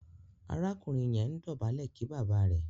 arákùnrin yẹ ǹ dobale kí bàbá rẹ